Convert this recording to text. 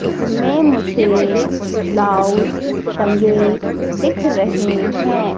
इसमें मुझे ब्लाउज टंगे दिख रहे है।